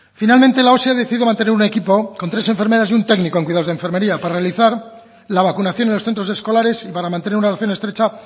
finalmente la osi ha decidido mantener un equipo con tres enfermeras y un técnico en cuidados de enfermería para realizar la vacunación en los centros escolares y para mantener una relación estrecha